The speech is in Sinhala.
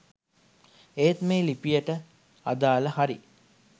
ඒත් මේ ලිපියට අදාල හරි